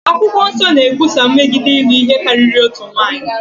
Akwụkwọ Nsọ na-ekwusa megide ịlụ ihe karịrị otu nwaanyị.